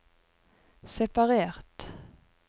separert